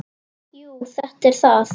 Jú, þetta er það.